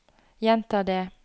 gjenta det